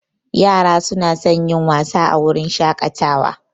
Yara suna son yin wasa a wurin shakatawa